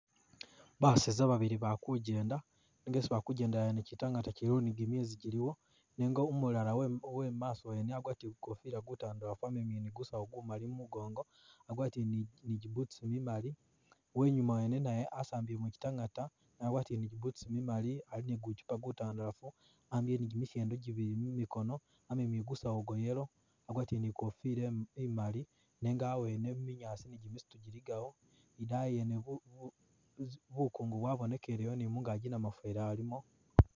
Baseza babili bali kujenda nenga isi bali kujendela wene chitangaata chiliwo ni gimyezi giliwo nenga umulala we wemumaso wene wakwatile kukoofila kutandalafu wamemile ni gusawu gumali gumungongo wagwatile ni gibutusi mimali uwenyuma wene naye wasambile muchitangaata wagwatile gibutusi mimali ali ni guchupa gutandalafu awambile ni gimishendo gibili mumikono wamemile ni gusawo gwa yellow agwatile ni gofila imaali nenga awene muminyaasi ni jimisitu jiligawo i'daayi yene bukungu bwabonekeleyo ni mungaki namufeli alimo